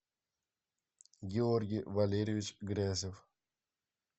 георгий валерьевич грязев